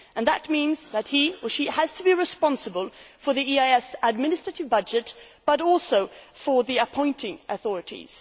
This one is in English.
That means that he or she has to be responsible for the EAS administrative budget, but also for the appointing authorities.